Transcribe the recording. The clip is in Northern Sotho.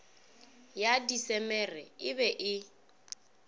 ya disemere e be e